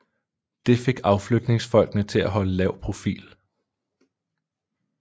Det fik aflytningsfolkene til at holde lav profil